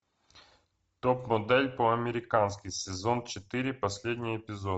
топ модель по американски сезон четыре последний эпизод